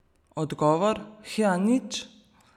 Odgovor: 'Hja, nič.